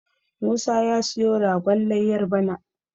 Musa ya siyo ragon layyar bana